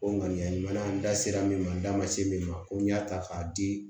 O ŋaniya ɲuman an da sera min ma n da ma se min ma ko n y'a ta k'a di